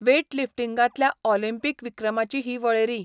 वॅटलिफ्टिंगांतल्या Olympic विक्रमांची ही वळेरी.